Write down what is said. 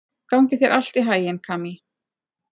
Gangi þér allt í haginn, Kamí.